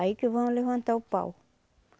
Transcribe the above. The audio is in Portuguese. Aí que vão levantar o pau.